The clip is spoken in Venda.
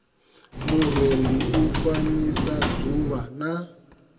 murendi u fanyisa dzuvha na